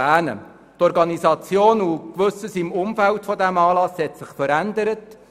Die Organisation und das Umfeld dieses Anlasses haben sich verändert.